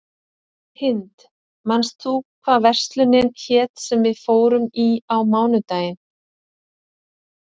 Hind, manstu hvað verslunin hét sem við fórum í á mánudaginn?